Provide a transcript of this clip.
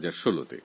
২০১৬তে